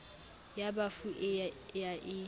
ya bafu e ya e